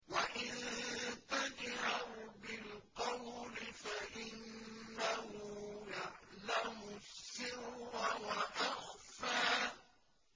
وَإِن تَجْهَرْ بِالْقَوْلِ فَإِنَّهُ يَعْلَمُ السِّرَّ وَأَخْفَى